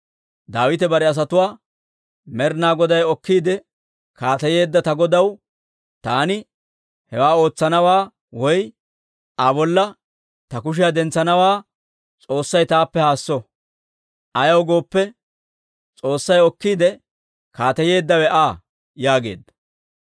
Daawite bare asatuwaa, «Med'inaa Goday okkiide kaateyeedda ta godaw taani hewaa ootsanaawaa woy Aa bolla ta kushiyaa dentsanawaa S'oossay taappe haasso; ayaw gooppe, S'oossay okkiide kaateyeeddawe Aa» yaageedda.